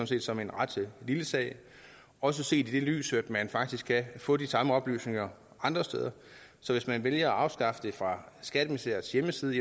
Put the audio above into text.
set som en ret lille sag også set i lyset af at man faktisk kan få de samme oplysninger andre steder så hvis man vælger at afskaffe det fra skatteministeriets hjemmeside